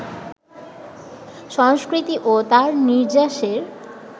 সংস্কৃতি ও তার নির্যাসের